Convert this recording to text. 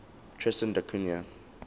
tristan da cunha